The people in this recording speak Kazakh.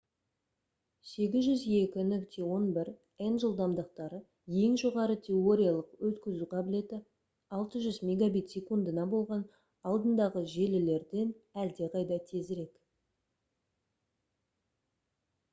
802.11n жылдамдықтары ең жоғары теориялық өткізу қабілеті 600 мбит/с болған алдындағы желілерден әлдеқайда тезірек